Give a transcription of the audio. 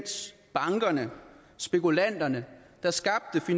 ulejliger